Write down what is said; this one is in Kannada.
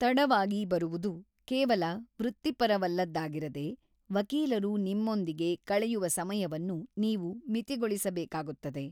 ತಡವಾಗಿ ಬರುವುದು ಕೇವಲ ವೃತ್ತಿಪರವಲ್ಲದ್ದಾಗಿರದೆ, ವಕೀಲರು ನಿಮ್ಮೊಂದಿಗೆ ಕಳೆಯುವ ಸಮಯವನ್ನು ನೀವು ಮಿತಿಗೊಳಿಸಬೇಕಾಗುತ್ತದೆ.